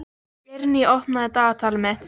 Eirný, opnaðu dagatalið mitt.